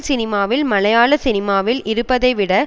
சினிமாவில் மலையாள சினிமாவில் இருப்பதை விட